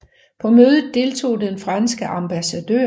På mødet deltog den franske ambassadør